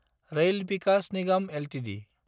rail Vikas Nigam Ltd